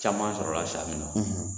Caman sɔrɔla san min na